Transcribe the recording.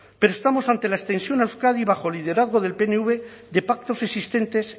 pero estamos ante la extensión a euskadi bajo el liderazgo del pnv de pactos existentes